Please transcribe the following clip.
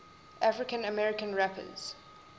african american rappers